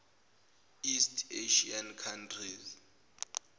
east asian countries